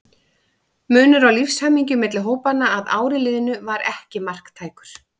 Munur á lífshamingju milli hópanna að ári liðnu var ekki marktækur.